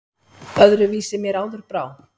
Öðru vísi mér áður brá!